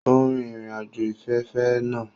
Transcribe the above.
O rin irin-ajo ifẹfẹfẹ naa